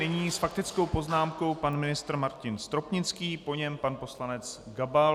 Nyní s faktickou poznámkou pan ministr Martin Stropnický, po něm pan poslanec Gabal.